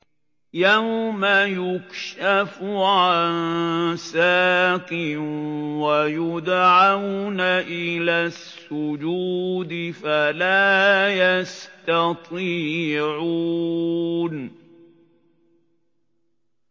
يَوْمَ يُكْشَفُ عَن سَاقٍ وَيُدْعَوْنَ إِلَى السُّجُودِ فَلَا يَسْتَطِيعُونَ